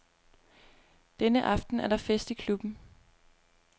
Denne aften er der fest i klubben.